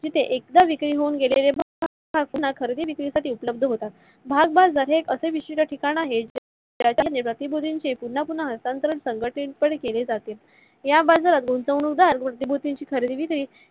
जिथे एकदा विक्री होऊन गेलेले खरेदी विक्री साठी उपलब्ध होतात. भाग्बाजार हे एक असे विशिष्ट ठिकाण आहे गती विधीनशी पुन्हा पुन्हा हस्तांतरण संघटित पाने केले जाते. या बाजारात गुंतवणूक दार खरेदी विक्री